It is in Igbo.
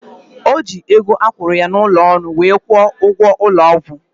Ojii ego akwuru ya na ulo olu wee kwo ugwo ulo ogwu